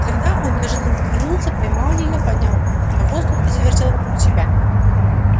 тогда он неожиданно повернулся поймал её поднял на воздух и завертел вокруг себя